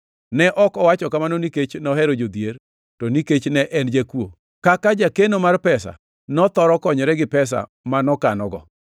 Ne ok owacho kamano nikech nohero jodhier, to nikech ne en jakuo. Kaka jakeno mar pesa, nothoro konyore gi pesa ma nokanogo.